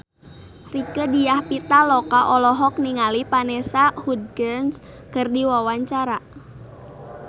Rieke Diah Pitaloka olohok ningali Vanessa Hudgens keur diwawancara